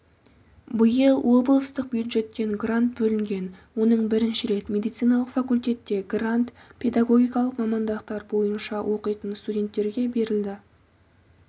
биыл облыстық бюджеттен грант бөлінген оның бірінші рет медициналық факультетте грант педагогикалықмамандықтар бойынша оқитын студенттерге берілді